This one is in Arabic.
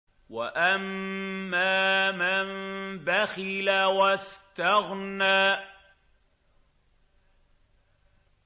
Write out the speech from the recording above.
وَأَمَّا مَن بَخِلَ وَاسْتَغْنَىٰ